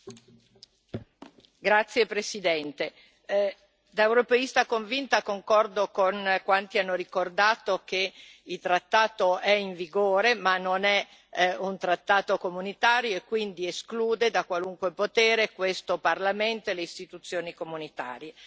Signor Presidente, onorevoli colleghi, da europeista convinta concordo con quanti hanno ricordato che il trattato è in vigore ma non è un trattato comunitario e quindi esclude da qualunque potere questo Parlamento e le istituzioni comunitarie.